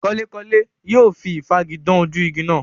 Kanlékanlé yóò fi ìfági dán ojú igi náà.